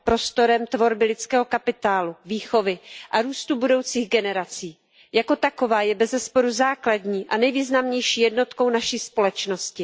Prostorem tvorby lidského kapitálu, výchovy a růstu budoucích generací. Jako taková je bezesporu základní a nejvýznamnější jednotkou naší společnosti.